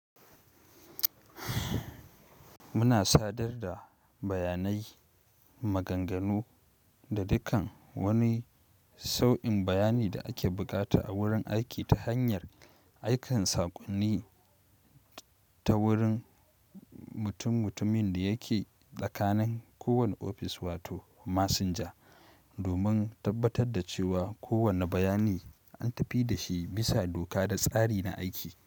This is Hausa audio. Muna sadar da bayanai, maganganu da dukan wani sau'in bayani da ake bukata a wurin aiki ta hanyar aikin sakonni ta wurin mutummutumin da yake tsakanin kowane ofis wato masinja, domin tabbatar da cewa kowane bayani an tafi da shi bisa doka da tsari na aiki.